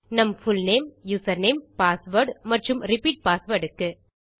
நம் full name username password மற்றும் repeat password க்கு